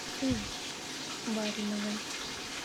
бариновой